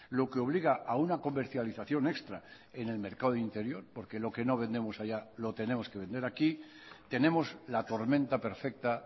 lo que obliga a una comercialización extra en el mercado interior porque lo que no vendemos allá lo tenemos que vender aquí tenemos la tormenta perfecta